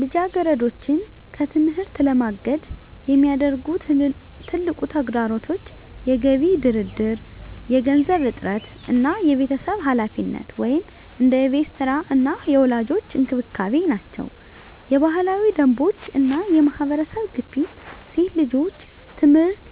ልጃገረዶችን ከትምህርት ለማገድ የሚያደርጉ ትልቁ ተግዳሮቶች የገቢ ድርድር፣ የገንዘብ እጥረት እና የቤተሰብ ኃላፊነት (እንደ የቤት ሥራ እና የወላጆች እንክብካቤ) ናቸው። የባህላዊ ደንቦች እና የማህበረሰብ ግፊት ሴት ልጆች ትምህርት